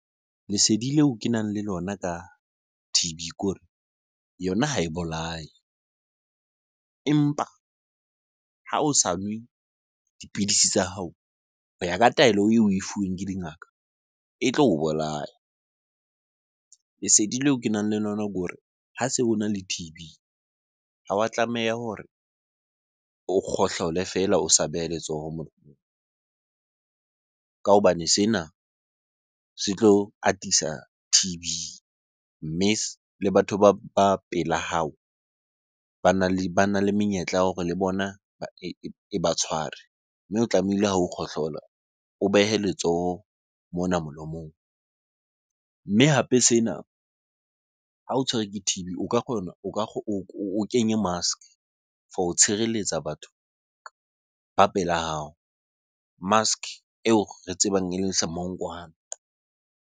Lesedi leo ke nang le lona ka T_B kore yona ha e bolaya empa ha o sa nwe dipidisi tsa hao ho ya ka taelo eo oe fuweng ke dingaka e tlo o bolaya. Lesedi leo kenang le lona ke hore ha se ona le T_B, ha wa tlameha hore o kgohlole feela o sa beha letsoho molomong. Ka hobane sena se tlo atisa T_B mme le batho ba pela hao bana le menyetla ya hore le bona e ba tshware. Mme o tlamehile ha o kgohlola o behe letsoho mona molomong. Mme hape sena, ha o tshwerwe ke T_B o ka kgona o kenye mask for ho tshireletsa batho ba pela hao. Mask eo re tsebang eleng semonkwana.